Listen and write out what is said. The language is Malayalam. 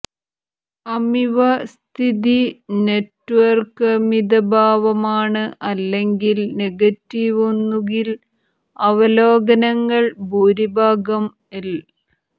അമിവ സ്ഥിതി നെറ്റ്വർക്ക് മിതഭാവമാണ് അല്ലെങ്കിൽ നെഗറ്റീവ് ഒന്നുകിൽ അവലോകനങ്ങൾ ഭൂരിഭാഗം ൽ